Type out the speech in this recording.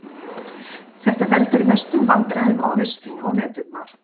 Þetta veldur mestum vandræðum á haustin og veturna.